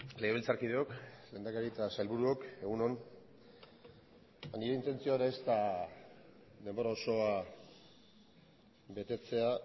legebiltzarkideok lehendakari eta sailburuok egun on nire intentzioa ez da denbora osoa betetzea